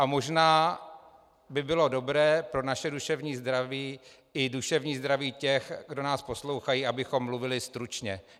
A možná by bylo dobré pro naše duševní zdraví i duševní zdraví těch, kdo nás poslouchají, abychom mluvili stručně.